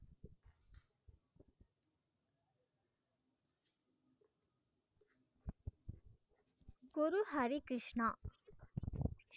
Guru Hari Krishna